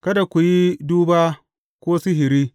Kada ku yi duba ko sihiri.